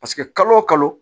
Paseke kalo o kalo